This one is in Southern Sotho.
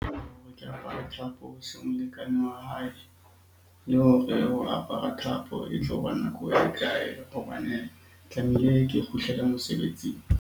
Ke apare thapo molekane wa hae le hore ho apara thapo e tlo ba nako e kae? Hobane tlamehile ke kgutlele mosebetsing.